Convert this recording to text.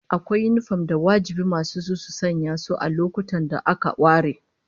Akwai yinifom da wajibi masu su su sanya su a lokutan da aka ware